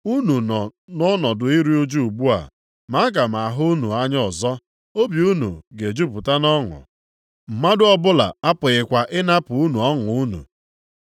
Unu nọ nʼọnọdụ iru ụjụ ugbu a, ma aga m ahụ unu anya ọzọ, obi unu ga-ejupụta nʼọṅụ. Mmadụ ọbụla apụghịkwa ịnapụ unu ọṅụ unu.